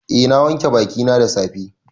Eh na wanke bakina da safe.